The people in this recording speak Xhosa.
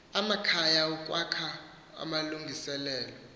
amakhaya ukwakha amalungiselelo